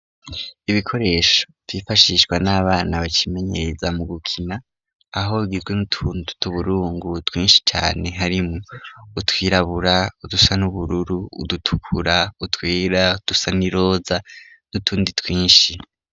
Ibikoresho vifashishwa n'abana bacimenyeza mu gukina aho gizwe n'utuntuta uburungu twinshi cane harimwo utwirabura udusa n'ubururu udutukura utwera dusa n'iroza n'utundi twinshi.